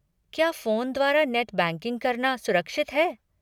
क्या फ़ोन द्वारा net banking करना सुरक्षित है?